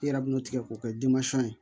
I yɛrɛ b'o tigɛ k'o kɛ ye